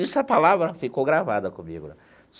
Essa palavra ficou gravada comigo né.